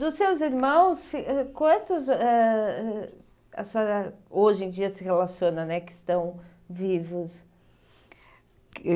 Dos seus irmãos, ãh quantos ãh a senhora hoje em dia se relaciona, né, que estão vivos? Que